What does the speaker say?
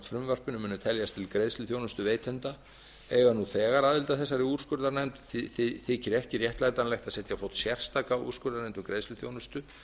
frumvarpinu munu teljast til greiðsluþjónustuveitenda eiga nú þegar aðild að þessari úrskurðarnefnd þykir ekki réttlætanlegt að setja á fót sérstaka úrskurðarnefnd um greiðsluþjónustu